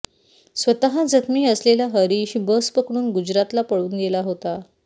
स्वतः जखमी असलेला हरीश बस पकडून गुजरातला पळून गेला होता